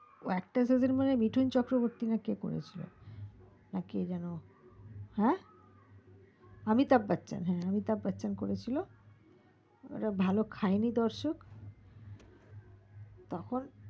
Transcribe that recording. ওএকটা season মনে হয় মিঠুন চক্রবর্তী নাকি কে করে ছিল নাকি কে যেন হা অমিতাভ বচ্চন করেছিল ভালো খাইনি দর্শক তখন